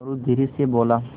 मोरू धीरे से बोला